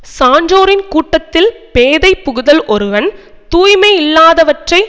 சான்றோரின் கூட்டத்தில் பேதை புகுதல் ஒருவன் தூய்மையில்லாதவற்றை